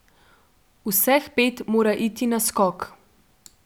Vseh pet mora iti na skok.